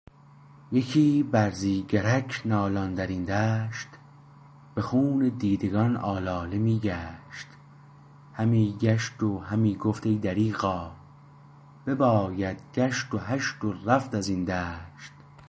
یکی برزیگرک نالان درین دشت به خون دیدگان آلاله می کشت همی کشت و همی گفت ای دریغا بباید کشت و هشت و رفت ازین دشت